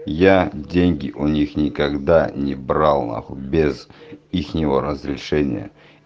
я деньги у них никогда не брал на хуй без ихнего разрешения